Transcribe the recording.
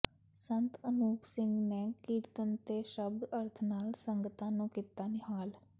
ਸੰਤ ਅਨੂਪ ਸਿੰਘ ਨੇ ਕੀਰਤਨ ਤੇ ਸ਼ਬਦ ਅਰਥ ਨਾਲ ਸੰਗਤਾਂ ਨੂੰ ਕੀਤਾ ਨਿਹਾਲ